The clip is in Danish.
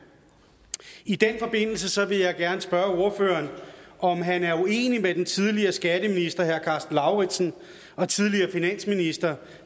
i den forbindelse vil jeg gerne spørge ordføreren om han er uenig med den tidligere skatteminister herre karsten lauritzen og tidligere finansminister